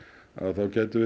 þá gætum við